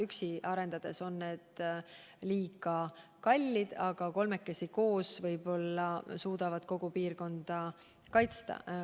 Üksi arendades on need liiga kallid, aga kolmekesi koos tegutsedes suudame võib-olla kogu piirkonda kaitsta.